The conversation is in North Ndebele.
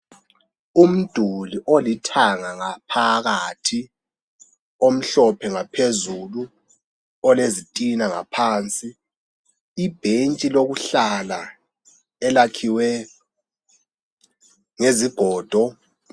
Umduli olithanga ngaphakathi omhlophe ngaphezulu olezitina ngaphansi ibhentshi lokuhlala elakhiwe ngezigodo